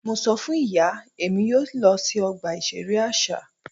Mo sọ fun iya Emi yoo lọ si ọgba iṣere aṣa.